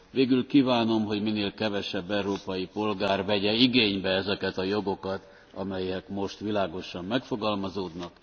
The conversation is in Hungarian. Végül kívánom, hogy minél kevesebb európai polgár vegye igénybe ezeket a jogokat, amelyek most világosan megfogalmazódnak.